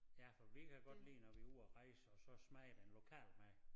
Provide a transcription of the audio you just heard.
Ja for vi kan godt lide når vi er ude at rejse og så smage den lokale mad